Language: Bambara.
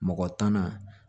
Mɔgɔ tan na